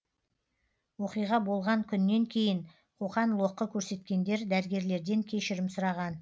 оқиға болған күннен кейін қоқан лоққы көрсеткендер дәрігерлерден кешірім сұраған